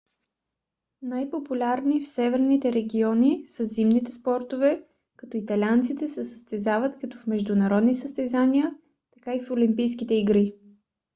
най-популярни в северните региони са зимните спортове като италианците се състезават както в международни състезания така и в олимпийските игри